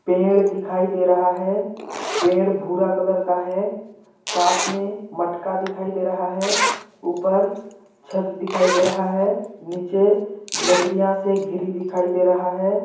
पेड़ दिखाई दे रहा है पेड़ भूरा कलर का है साथ में मटका दिखाई दे रहा है ऊपर छत दिखाई दे रहा है नीचे लकड़ियाँ से घिरी दिखाई दे रहा हैं।